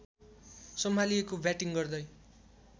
सम्हालिएको batting गर्दै